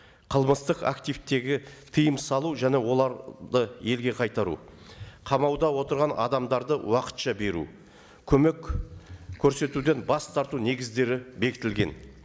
қылмыстық активтерге тыйым салу және оларды елге қайтару қамауда отырған адамдарды уақытша беру көмек көрсетуден бас тарту негіздері бекітілген